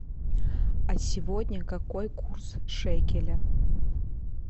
а сегодня какой курс шекеля